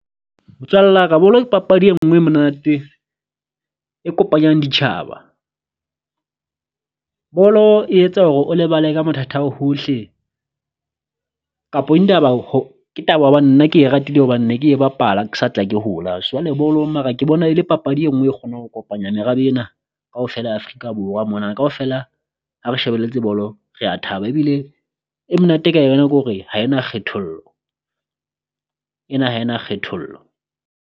Motswalla ka bolo ke papadi enngwe e monate e kopanyang ditjhaba, bolo e etsa hore o lebale ka mathatha ao hohle kapo indaba ho ke taba hobane nna ke e ratile hobane ne ke e bapala ke sa tla ke hola. Ke bolong mara ke bona e le papadi enngwe e kgonang ho kopanya merabe ena kaofela ya Afrika Borwa mona kaofela ha re shebelletse bolo rea thaba. Ebile e monate ka yona ke hore ha e na kgethollo ena ha e na kgethollo.